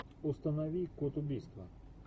установи код убийства